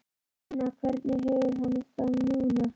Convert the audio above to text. En núna, hvernig hefur hann það núna?